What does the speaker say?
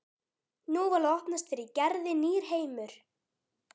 Nú var að opnast fyrir Gerði nýr heimur.